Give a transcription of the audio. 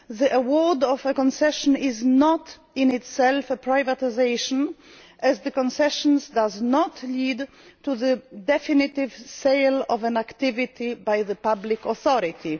The award of a concession is not in itself a privatisation, as concessions do not lead to the definitive sale of an activity by the public authority.